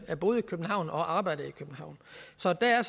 boede i københavn og arbejdede i københavn så der